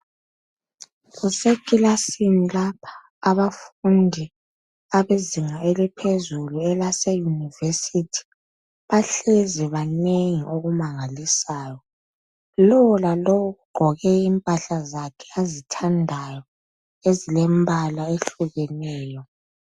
Kusekilasini lapha abafundi abezinga eliphezulu abase Yunivesithi bahlezi banengi okumangalisayo. Lowolalowo ugqoke impahla zakhe ozithandayo ezilombala oyehlukeneyo.